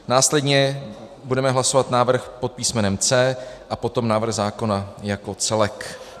Následně budeme hlasovat návrh pod písmenem C a potom návrh zákona jako celek.